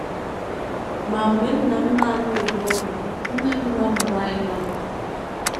Ma mgbe nna m na - anọghị n’ụlọ, nne m na - amụrụ anyị Novel.